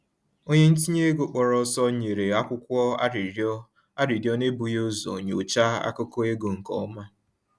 Onye ntinye ego kpọrọ ọsọ nyere akwụkwọ arịrịọ arịrịọ n’ebughị ụzọ nyochaa akụkọ ego nke ọma